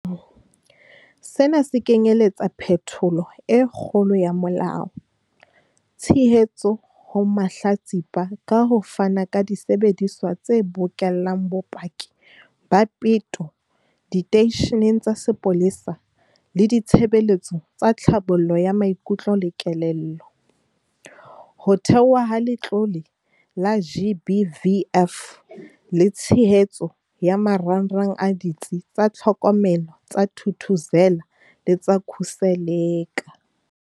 Sena se kenyeletsa phetholo e kgolo ya molao, tshehetso ho mahlatsipa ka ho fana ka disebediswa tse bokellang bopaki ba peto diteisheneng tsa sepolesa le ditshebeletso tsa tlhabollo ya maikutlo le kelello, ho theohwa ha Letlole la GBVF le tshehetso ya marangrang a Ditsi tsa Tlhokomelo tsa Thuthuzela le tsa Khuseleka.